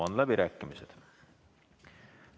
Avan läbirääkimised.